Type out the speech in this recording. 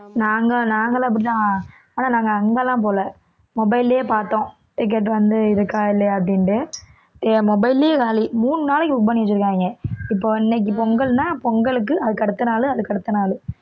நாங்க நாங்களும் அப்படித்தான் ஆனா நாங்க அங்கெல்லாம் போகல mobile லயே பார்த்தோம் ticket வந்து இருக்கா இல்லையா அப்படின்னுட்டு என் mobile லயே காலி மூணு நாளைக்கு book பண்ணி வெச்சிருக்காங்க இப்போ இன்னைக்கு பொங்கல்ன்னா பொங்கலுக்கு, அதுக்கு அடுத்த நாளு, அதுக்கு அடுத்த நாளு